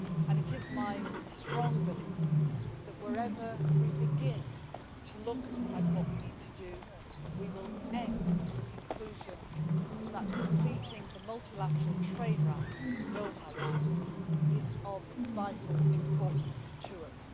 It is my strong belief that, wherever we begin to look at what we need to do, we will end in the conclusion that completing the multilateral trade round the Doha Round is of vital importance to us.